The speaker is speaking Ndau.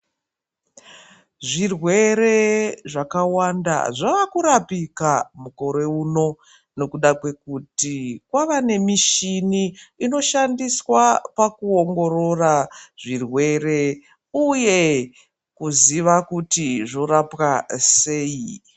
Zvirwere zvakawanda zvavakurapika mukore uno nekuda kwekuti kwavanemishini inoshandiswa pakuongororwa kwezvirwere uye kuziva kuti zvorapwa sei.